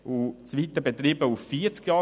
Diese beträgt 25 Jahre.